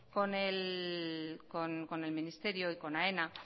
con el ministerio y con aena